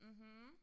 Mh